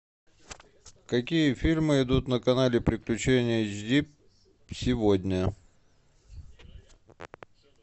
какие фильмы идут на канале приключения эйч ди сегодня